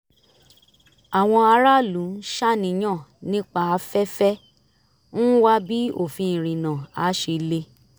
àwọn aráàlú ń ṣàníyàn nípa afẹ́fẹ́ ń wá bí òfin ìrìnnà á ṣe le